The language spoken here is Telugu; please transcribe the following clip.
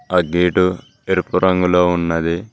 ఆ గేటు ఎరుపు రంగులో ఉన్నది.